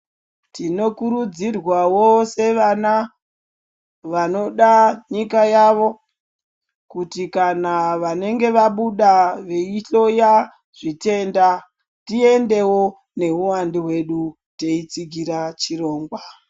Tino kurudzirwawo sevana vanoda nyika yavo kuti kana vanenge vabuda veyihloya zvitenda tiendewo neuwandu hwedu teyitsigira chirongwa.